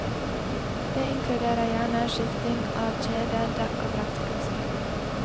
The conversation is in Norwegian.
Det inkluderer gjerne skifting av kjede, dekk og bremseklosser.